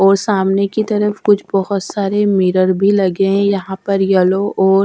और सामने की तरफ कुछ बहुत सारे मिरर भी लगे हैं यहां पर येलो और।